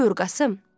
Buyur Qasım.